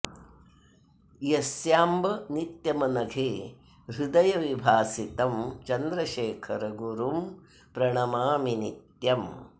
यस्यांब नित्यमनघे हृदये विभासि तं चन्द्रशेखर गुरुं प्रणमामि नित्यम्